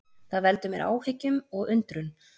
Það veldur mér áhyggjum og undrun